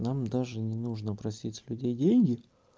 нам даже не нужно просить с людей деньги